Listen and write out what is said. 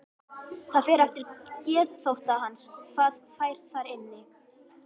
Það fer eftir geðþótta hans hvað fær þar inni.